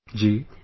Ji...